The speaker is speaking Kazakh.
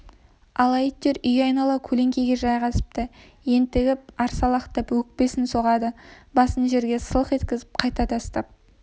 ала иттер үй айнала көлеңкеге жайғасыпты ентігіп арсалақтап өкпесін соғады басын жерге сылқ еткізіп қайта тастап